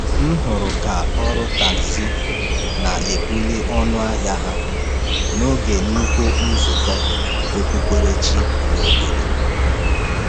M hụrụ ka ọrụ tagzi na-ebuli ọnụ ahịa ha n’oge nnukwu nzukọ okpukperechi n’obodo.